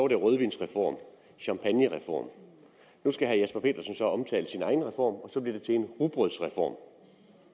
det rødvinsreform og champagnereform nu skal herre jesper petersen omtale sin egen reform og så bliver det til en rugbrødsreform